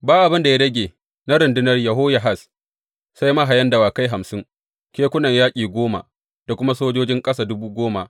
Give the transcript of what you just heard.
Ba abin da ya rage na rundunar Yehoyahaz sai mahayan dawakai hamsin, kekunan yaƙi goma da kuma sojoji ƙasa dubu goma.